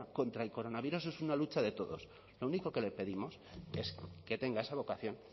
contra el coronavirus es una lucha de todos lo único que le pedimos es que tenga esa vocación